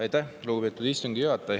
Aitäh, lugupeetud istungi juhataja!